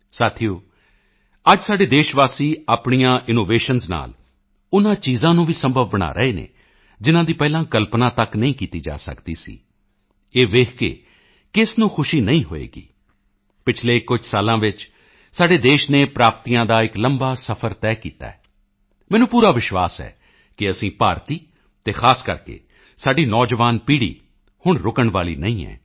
ਸਾਥੀਓ ਅੱਜ ਸਾਡੇ ਦੇਸ਼ਵਾਸੀ ਆਪਣੇ ਇਨੋਵੇਸ਼ਨਾਂ ਨਾਲ ਉਨ੍ਹਾਂ ਚੀਜ਼ਾਂ ਨੂੰ ਵੀ ਸੰਭਵ ਬਣਾ ਰਹੇ ਹਨ ਜਿਨ੍ਹਾਂ ਦੀ ਪਹਿਲਾਂ ਕਲਪਨਾ ਤੱਕ ਨਹੀਂ ਕੀਤੀ ਜਾ ਸਕਦੀ ਸੀ ਇਹ ਦੇਖ ਕੇ ਕਿਸ ਨੂੰ ਖੁਸ਼ੀ ਨਹੀਂ ਹੋਵੇਗੀ ਪਿਛਲੇ ਕੁਝ ਸਾਲਾਂ ਵਿੱਚ ਸਾਡੇ ਦੇਸ਼ ਨੇ ਪ੍ਰਾਪਤੀਆਂ ਦਾ ਇੱਕ ਲੰਬਾ ਸਫ਼ਰ ਤੈਅ ਕੀਤਾ ਹੈ ਮੈਨੂੰ ਪੂਰਾ ਵਿਸ਼ਵਾਸ ਹੈ ਕਿ ਅਸੀਂ ਭਾਰਤੀ ਅਤੇ ਖ਼ਾਸ ਕਰਕੇ ਸਾਡੀ ਨੌਜਵਾਨ ਪੀੜ੍ਹੀ ਹੁਣ ਰੁਕਣ ਵਾਲੀ ਨਹੀਂ ਹੈ